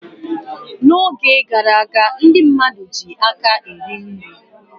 N'oge gara aga ndị mmadụ jiiri aka eri nri.